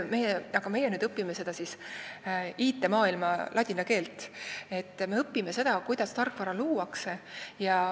Meie õpime nüüd seda IT-maailma ladina keelt ja seda, kuidas tarkvara luuakse.